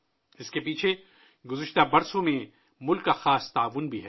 اس کے پیچھے گزشتہ برسوں میں ملک کا خصوصی تعاون بھی ہے